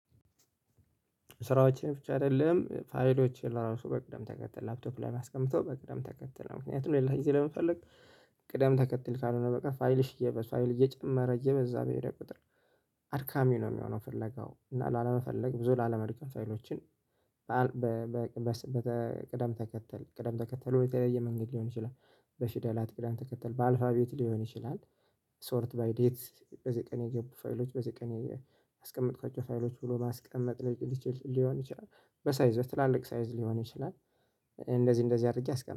ስራዎችን ብቻ አይደለም ፋይሎችን ለራሱ በቅደም ተከተል ላፕቶፕ ላይ አስቀምቶም በቅደም ተከተል ምክንያቱም ሌላ ጊዜ ለመፈለግ። ቅደም ተከተል ካልሆነ በቃ ፋይልሽ እየሰፋ ፋይል እየጨመረ እየበዛ በሄደ ቁጥር። አድካሚ ነው የሚሆነው ፍለጋው እና ላለመፈለግ ብዙ ላለመድከም ፋይሎችን በቅደም ተከተል ቅደም ተከተሉ የተለየ መንገድ ሊሆን ይችላል። በሽደላት ቅደም ተከተል በአልፋ ቤት ሊሆን ይችላል። ሶርት ባይዴት በዚህ ቀን የጀብ ፋይሎች በዚህ ቀን። የማስቀመጥኳቸው ፋይሎች ብሎ ማስቀመጥ ሊችል ሊሆን ይችላል። በሳይዝ በትላልቅ ሳይዝ ሊሆን ይችላል። እንደዚህ እንደዚህ አድርጌ አስቀምጠዋለሁ